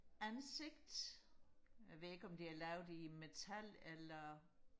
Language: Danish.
ansigt jeg ved ikke om det er lavet i metal eller